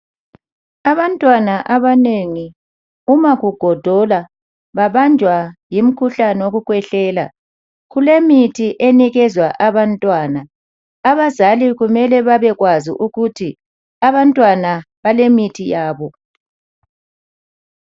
Abantwana abanengi uma kugodola babanjwa ngumkhuhlane wokukhwehlela. Kulemithi enikezwa abantwana. Abazali kumele babekwazi ukuthi abantwana balemithi yabo.